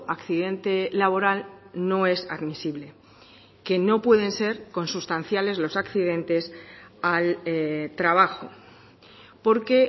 accidente laboral no es admisible que no pueden ser consustanciales los accidentes al trabajo porque